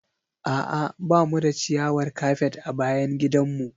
A'a ba mu da ciyawar kafet a bayan gidanmu.